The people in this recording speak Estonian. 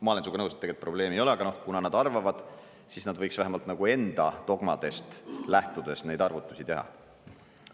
Ma olen sinuga nõus, et tegelikult probleemi ei ole, aga kuna nad arvavad, siis nad võiks vähemalt enda dogmadest lähtudes neid arvutusi teha.